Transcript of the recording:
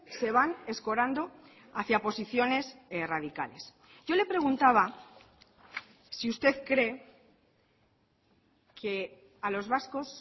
se van escorando hacia posiciones radicales yo le preguntaba si usted cree que a los vascos